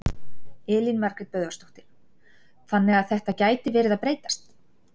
Elín Margrét Böðvarsdóttir: Þannig að þetta gæti verið að breytast?